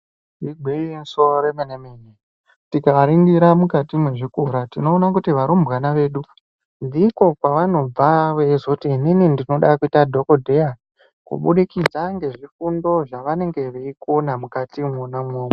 Igwinyiso remene mene, tikaringira mukati mwezvikora tinoona kuti varumbwana vedu ndiko kwavanobva veizoti inini ndinoda kuita dhokodheya kuburikidza ngezvifundo zvavanenge veikona mukati imwoma imwomwo.